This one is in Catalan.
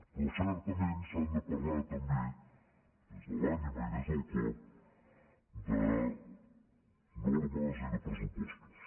però certament s’ha de parlar també des de l’ànima i des del cor de normes i de pressupostos